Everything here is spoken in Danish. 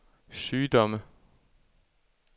sygdomme